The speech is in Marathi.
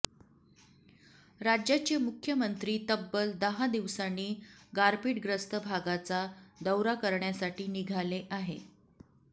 राज्याचे मुख्यमंत्री तब्बल दहा दिवसांनी गारपिटग्रस्त भागाचा दौरा करण्यासाठी निघाले आहे